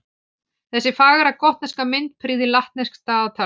Þessi fagra gotneska mynd prýðir latneskt dagatal.